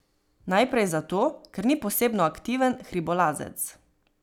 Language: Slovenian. Najprej zato, ker ni posebno aktiven hribolazec.